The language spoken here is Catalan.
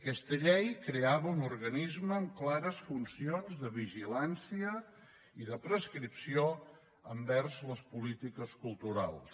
aquesta llei creava un organisme amb clares funcions de vigilància i de prescripció envers les polítiques culturals